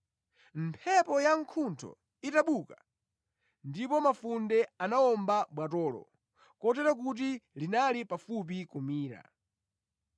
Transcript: Mphepo yamkuntho inabuka, ndipo mafunde anawomba bwatolo, kotero kuti linali pafupi kumira.